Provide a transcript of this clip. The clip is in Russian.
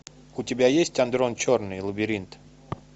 у тебя есть андрон черный лабиринт